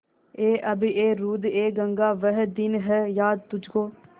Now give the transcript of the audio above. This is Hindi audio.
ऐ आबएरूदएगंगा वह दिन हैं याद तुझको